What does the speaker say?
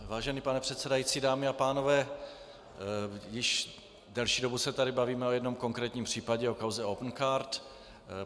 Vážený pane předsedající, dámy a pánové, již delší dobu se tady bavíme o jednom konkrétním případě, o kauze Opencard.